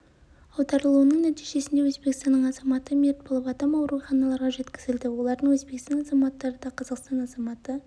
аударылуының нәтижесінде өзбекстанның азаматы мерт болып адам ауруханаларға жеткізілді олардың өзбестан азаматтары да қазақстан азаматы